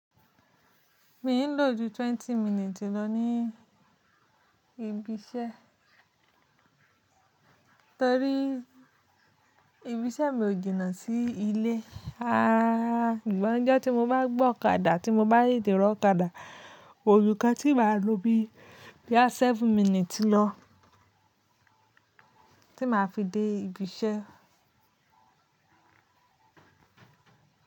Mi ń lò ju twenty minutes lọ ní ibi iṣẹ́ torí ibi ṣẹ́ mi ò jìnnà sí ilé rara. Sugbon ojo ti mo bá gbe ọ̀kadà tí mo bá te te ri ọ̀kadà, koju kan tí màá lo bíi boya seven minutes lọ tí màá fi dé ibi iṣẹ́.